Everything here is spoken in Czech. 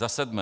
Za sedmé.